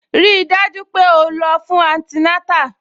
Rí i dájú pé o lọ fún antinátà